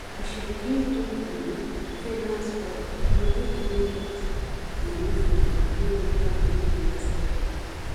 as she begin do um freelance work emily begin get money freedom wey make her believe in herself more